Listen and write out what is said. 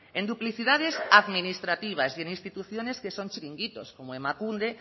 en duplicidades administrativas y en instituciones que son chiringuitos como emakunde